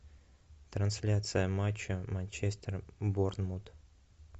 трансляция матча манчестер борнмут